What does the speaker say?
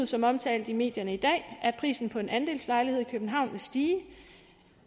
som omtalt i medierne i dag at prisen på en andelslejlighed i københavn vil stige